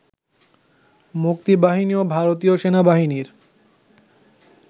মুক্তিবাহিনী ও ভারতীয় সেনাবাহিনীর